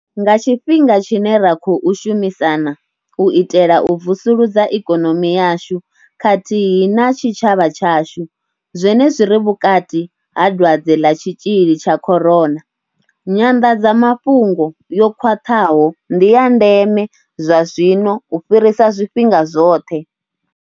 Nga tshifhinga tshine ra khou shumisana u itela u vusuludza ikonomi yashu khathihi na tshitshavha tshashu zwenezwi ri vhukati ha dwadze ḽa tshitzhili tsha corona, nyanḓadzamafhungo yo khwaṱhaho ndi ya ndeme zwazwino u fhirisa zwifhinga zwoṱhe.